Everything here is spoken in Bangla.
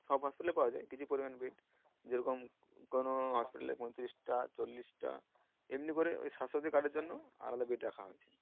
সব হাসপাতাল এ পাওয়া যাই কিছু পরিমান bed যেরকম কোনো হাসপাতাল এ পৈতিরিশতা চল্লিশটা এমনি করে সাস্থ সাথী card এর জন্য আলাদা bed রাখা আছে